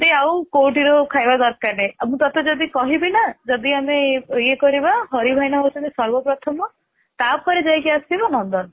ତୋତେ ଆଉ କଉଠି ର ଖାଇବା ବି ଦରକାର ନାହିଁ ଆଉ ମୁଁ ତୋତେ ଯଦି କହିବି ନା ଯଦି ଆମେ ଇଏ କରିବା ହରି ଭାଇନା ହଉ ଛନ୍ତି ସର୍ବ ପ୍ରଥମ ତା ପରେ ଯାଇ କି ଆସିବା ନନ୍ଦନ